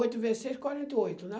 Oito vezes seis, quarenta e oito, né?